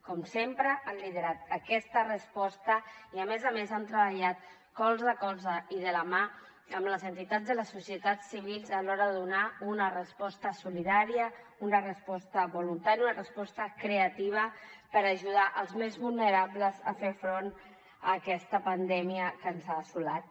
com sempre han liderat aquesta resposta i a més a més han treballat colze a colze i de la mà amb les entitats de les societats civils a l’hora de donar una resposta solidària una resposta voluntària una resposta creativa per ajudar els més vulnerables a fer front a aquesta pandèmia que ens ha assolat